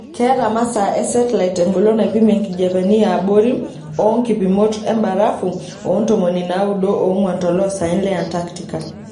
Keeta masaa e setilait engolon naipimie nkijepeni yaabori oonkipimot embrafu oontomoni naaudo oongwan toloosaen le Antarctica.